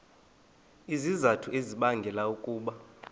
izizathu ezibangela ukuba